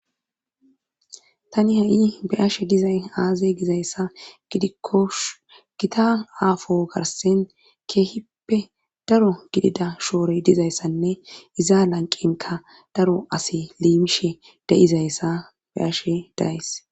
tani ha7i beyashe dizay aaze gizayssa gidikkosh gita aafo garsen keehippe daro gidida shoore dizayssanne iza lanqinka daro asi liimishe deizayssa beyashe days